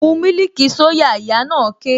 Mu mílìkì soya! Ìyá na ké